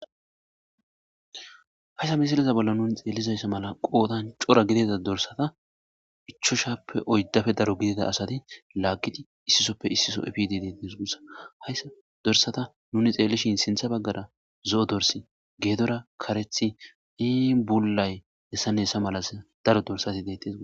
Hayssa misiliza bolla nuni xeellizayssa mala qoodan cora gidida dorsata ichoshappe oyddafe daro gidida asati laaggidi issisoppe issiso epid detnsgussa hayssa dorsata nuni xeellishin sintha baggara zo7o dorsi geedora karethi iibullay hessannessa malas daro dorsati dettes g.